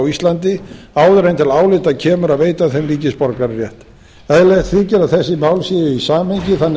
íslandi áður en til álita kemur að veita þeim ríkisborgararétt eðlilegt þykir að þessi mál séu í samhengi þannig að